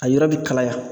A yɔrɔ bɛ kalaya